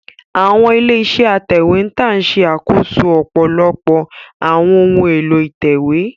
Àwọn ilé-iṣẹ́ ìtẹ̀wé ń ṣe àkóso ọ̀pọ̀lọpọ̀ àwọn ohun èlò ìtẹ̀wé